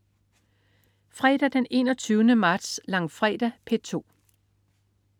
Fredag den 21. marts. Langfredag - P2: